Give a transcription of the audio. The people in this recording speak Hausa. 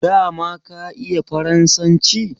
dama ka iya faransanci